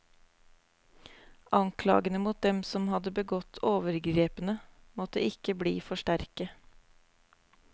Anklagene mot dem som hadde begått overgrepene, måtte ikke bli for sterke.